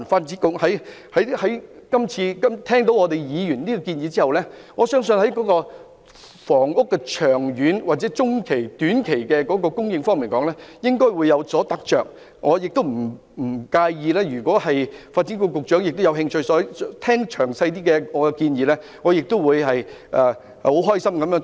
這次聽過議員的建議後，我相信在房屋的長、中、短期的供應方面，發展局應該也有所得着，如果發展局局長有興趣聆聽我的詳細建議，我亦樂意與他交流意見。